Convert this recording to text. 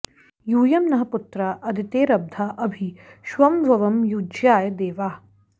यू॒यं नः॑ पुत्रा अदितेरदब्धा अ॒भि क्ष॑मध्वं॒ युज्या॑य देवाः